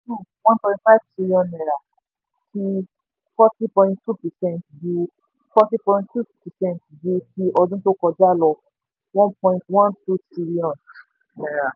one point five trillion naira fi forty point two percent ju forty point two percent ju ti ọdún tó kọjá lọ one point one two trillion